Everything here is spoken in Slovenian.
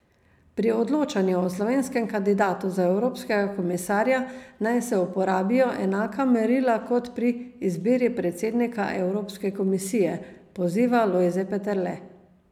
Pri odločanju o slovenskem kandidatu za evropskega komisarja naj se uporabijo enaka merila kot pri izbiri predsednika Evropske komisije, poziva Lojze Peterle.